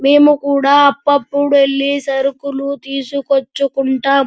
మేము కూడా అప్ప్ అప్పుడు ఎళ్లి సరుకులు తీసుకొచ్చుకుంటాం.